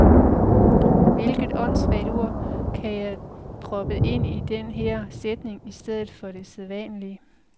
Hvilket åndssvagt ord kan jeg proppe ind i den her sætning i stedet for det sædvanlige.